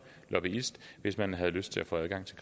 lobbyist hvis man havde lyst til at få adgang til